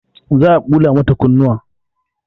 Za a ɓula mata kunnuwa